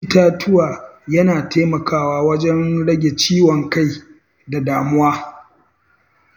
Jin ƙamshin itatuwa yana taimakawa wajen rage ciwon kai da damuwa.